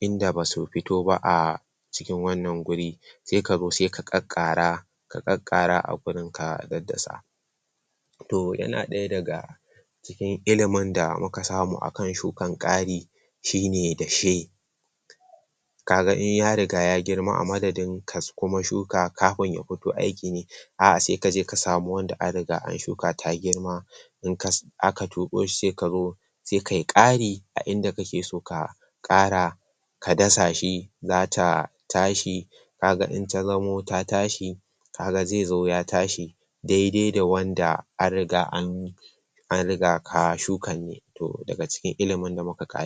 inda basu fito ba a cikin wannan guri sai ka zo sai ka karkara sai ka zo ka karkara, ka daddasa to yana daya daga cikin ilimin da muka samu, akan shukan kari shine dashe kaga in ya riga ya girma, a madadin ka kuma shuka, kafin ya fito aikine a sai kaje ka samu wanda an riga da an shuka ta girma in aka ciro shi sai kazo sai kayi kari a inda kake so ka kara ka dasa shi za ta tashi kaga in ta zamo ta tashi kaga zai zo ya tashi daidai da wanda an riga an an riga an shuka ne daga cikin ilimin da muka?